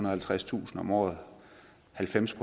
og halvtredstusind om året og halvfems